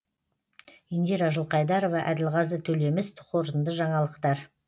индира жылқайдарова әділғазы төлеміс қорытынды жаңалықтар